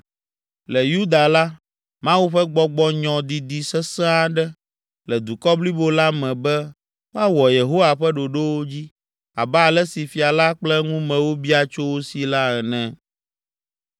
Le Yuda la, Mawu ƒe Gbɔgbɔ nyɔ didi sesẽ aɖe le dukɔ blibo la me be woawɔ Yehowa ƒe ɖoɖowo dzi abe ale si fia la kple eŋumewo bia tso wo si la ene.